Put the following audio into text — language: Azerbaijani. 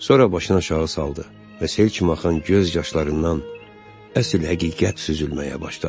Sonra başını aşağı saldı və sel kimi axan göz yaşlarından əsl həqiqət süzülməyə başladı.